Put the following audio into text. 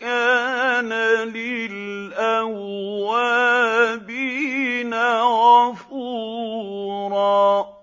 كَانَ لِلْأَوَّابِينَ غَفُورًا